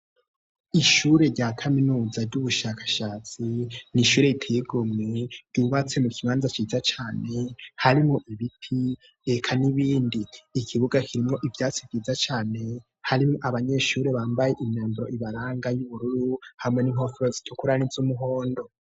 Ishure rya kaminuza ry'ubushakashatsi ni ishure itegu mwe riwatse mu kibanza ciza cane harimwo ibiti eka n'ibindi ikibuga kirimwo ivyatsi vyiza cane harimwo abanyeshure bambaye imyanburo ibaranga y'ubururu hamwe n'inkofero situkurani z'umuhondo.